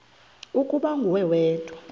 ukuba nguwe wedwa